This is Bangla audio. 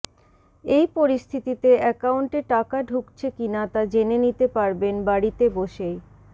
এই পরিস্থিতিতে অ্যাকাউন্টে টাকা ঢুকছে কিনা তা জেনে নিতে পারবেন বাড়িতে বসেই